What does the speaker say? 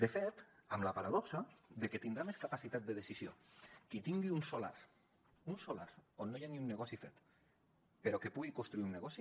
de fet amb la paradoxa de que tindrà més capacitat de decisió qui tingui un solar un solar on no hi ha ni un negoci fet però que hi pugui construir un negoci